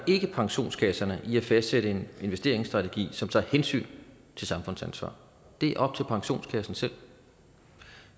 pensionskasserne i at fastsætte en investeringsstrategi som tager hensyn til samfundsansvar det er op til pensionskasserne selv